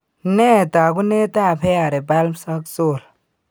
Nee taakunetaab hairy palms ak sole?